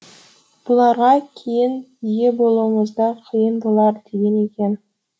бұларға кейін ие болуымыз да қиын болар деген екен